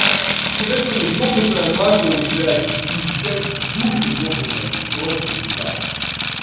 сказать что она ёбнутая на голову блять пиздец дурка ёбанная просто пизда